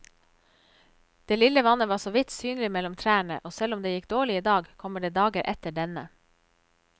Det lille vannet var såvidt synlig mellom trærne, og selv om det gikk dårlig i dag, kommer det dager etter denne.